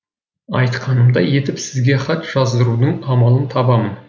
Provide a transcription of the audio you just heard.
айтқанымдай етіп сізге хат жаздырудың амалын табамын